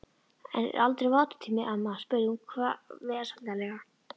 Er aldrei matartími, amma? spurði hún vesældarlega.